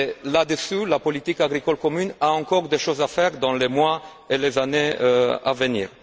Là dessus, la politique agricole commune a encore des choses à faire dans les mois et les années à venir.